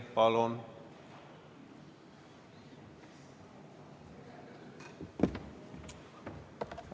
Palun!